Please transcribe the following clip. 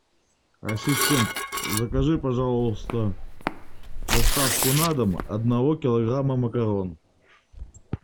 ассистент закажи пожалуйста доставку на дом одного килограмма макарон